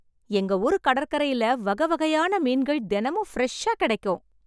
எங்க ஊரு கடற்கரையில வகை வகையான மீன்கள் தினமும் பிரஷ்ஷா கிடைக்கும்.